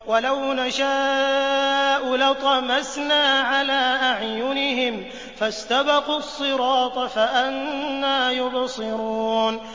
وَلَوْ نَشَاءُ لَطَمَسْنَا عَلَىٰ أَعْيُنِهِمْ فَاسْتَبَقُوا الصِّرَاطَ فَأَنَّىٰ يُبْصِرُونَ